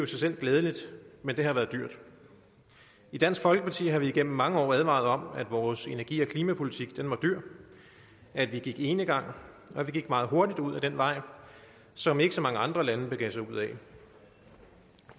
sig selv glædeligt men det har været dyrt i dansk folkeparti har vi igennem mange år advaret om at vores energi og klimapolitik var dyr at vi gik enegang og at vi gik meget hurtigt ud ad den vej som ikke så mange andre lande begav sig ud ad